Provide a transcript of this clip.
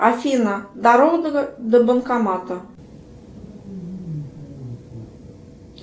афина дорога до банкомата